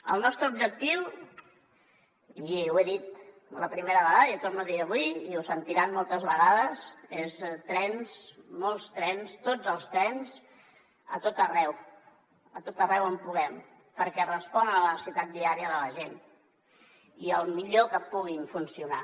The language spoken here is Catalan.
el nostre objectiu i ho he dit la primera vegada i ho torno a dir avui i ho sentiran moltes vegades són trens molts trens tots els trens a tot arreu a tot arreu on puguem perquè respon a la necessitat diària de la gent i el millor que puguin funcionar